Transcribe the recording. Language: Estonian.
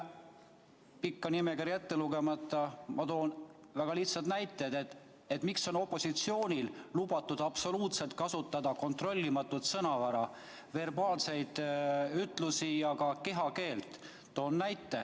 Pikka nimekirja ette lugemata toon ma väga lihtsad näited selle kohta, et opositsioonil on lubatud kasutada absoluutselt kontrollimatut sõnavara, verbaalseid ütlusi ja ka kehakeelt.